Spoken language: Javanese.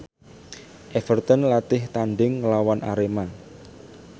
Everton latih tandhing nglawan Arema